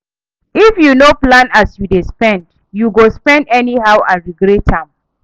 If yu no plan as yu dey spend, yu go spend anyhow and regret am.